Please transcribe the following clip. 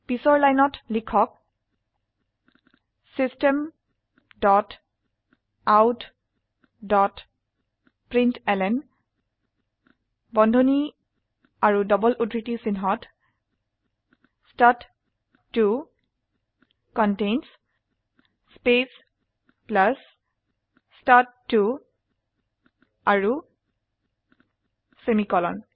পিছত লাইনত লিখক system dot out dot println বন্ধনী ও ডবল উদ্ধৃতি চিনহত ষ্টাড2 কণ্টেইনছ স্পেস প্লাস ষ্টাড2 আৰু সেমিকোলন